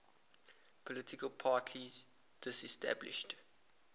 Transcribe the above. political parties disestablished